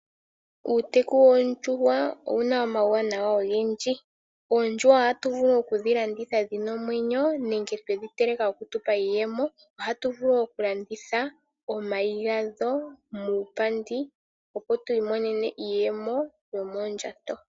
Uuteku goondjuhwa owuna omauwanawa ogendji. Oondjuhwa ohatu vulu oku dhi landitha dhina omwenyo nenge twedhi teleka ,opo dhi tu pe iiyemo. Ohatu vulu oku landitha omayi gadho muupandi, opo tu imonene iiyemo yo moondjato.